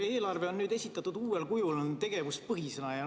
Eelarve on nüüd esitatud uuel kujul, tegevuspõhisena.